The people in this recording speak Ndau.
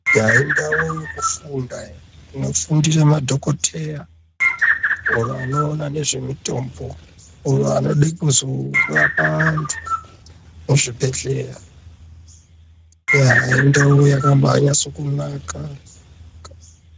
Indau yekufunda yekufundira madhokoteya anoona nezvemutombo oro anoda kuzorapa vantu muzvibhehleya indau yakaba nyatsonaka.